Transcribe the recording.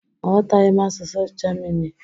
Aghọtaghị m asụsụ Germini.